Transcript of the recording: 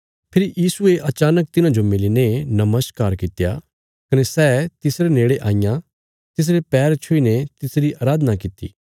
फेरी यीशुये अचानक तिन्हांजो मिलीने नमस्कार कित्या कने तिन्हें तिसरे नेड़े आईयां तिसरे पैर छुईने तिसरी अराधना कित्ती